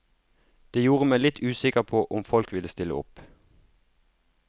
Det gjorde meg litt usikker på om folk ville stille opp.